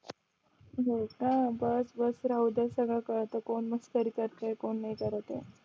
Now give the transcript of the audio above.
हो का बस बस राहूदे सगळं कळतं कोण मस्करी करतंय कोण नाय करत ये